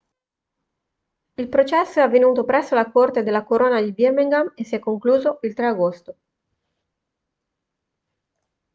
il processo è avvenuto presso la corte della corona di birmingham e si è concluso il 3 agosto